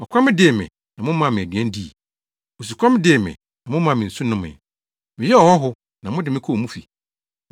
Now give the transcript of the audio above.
Ɔkɔm dee me, na momaa me aduan dii. Osukɔm dee me, na momaa me nsu nomee. Meyɛɛ ɔhɔho, na mode me kɔɔ mo fi.